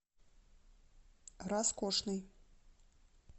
раскошный